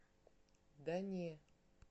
да не